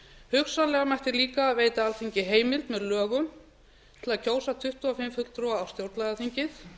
hugsanlega mætti líka veita alþingi heimild með lögum til að kjósa tuttugu og fimm fulltrúa á stjórnlagaþingið